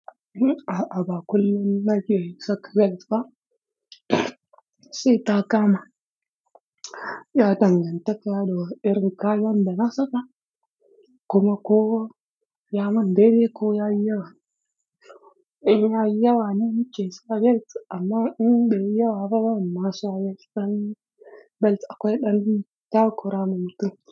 A'a ba kullum na ke saka belts ba. Sai ta kama, ya dangantaka ta wani irin kayan da na saka kuma ko ya min deidei ko ya yi yawa. Ya yi yawa ne ke sa belt amma in bai yi yawa ba, ban ma sa belt ba. Belt akwai ɗan, takura ma mutum.